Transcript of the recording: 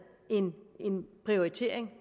en prioritering